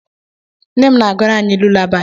Nne m na-agụrụ anyị lulabaị.